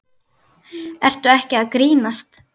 Ertu ekki að grínast?